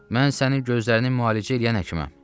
Mən sənin gözlərini müalicə eləyən həkiməm.